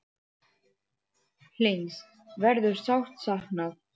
Hlyns verður sárt saknað.